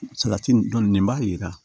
Salati nin dɔn nin nin b'a jira